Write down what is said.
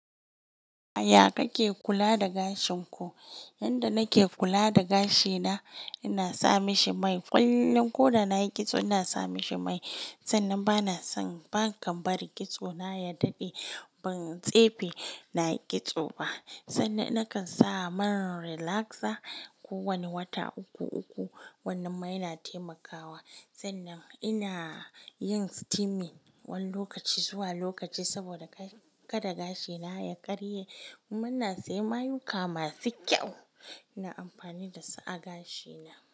Ya kake kula da gashin ku? Yanda nake kula da gashi na, ina sa mishi mai. Kullum ko da na yi kitso, ina sa mishi mai. Sannan ba na son ban kan bari kitso na ya daɗe. Ban tsefe na yi kitso ba, sannan nakan sa man relaxer ko wani wata uku uku. Wannan mai na taimakawa. Sannan ina yin steaming wani lokaci zuwa lokaci saboda kada gashi na ya karye. Muna saye mayuka masu kyau, ina amfani da su a gashi na.